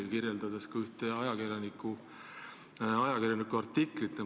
Te viitasite seejuures ka ühe ajakirjaniku artiklile.